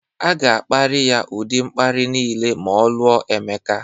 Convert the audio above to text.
A ga-akparị ya ụdị mkparị niile ma ọ lụọ Emeka